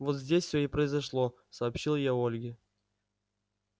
вот здесь все и произошло сообщил я ольге